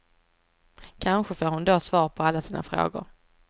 Kanske får hon då svar på alla sina frågor.